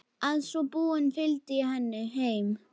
Að svo búnu fylgdi ég henni heim.